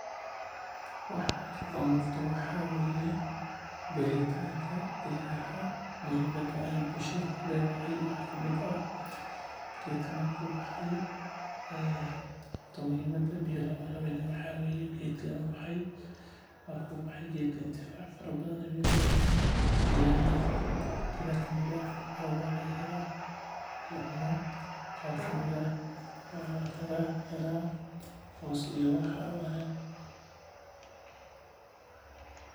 Waxa halkan ka muuqdo waxa waye beeritanka geedaha muhimada bukshada kuledahay waxaa waye geedka inuu baxo intifaac fara badan ayuu leyahay cuno ayaa laga helaa qaar kamid ah waxaa laga helaa hoos.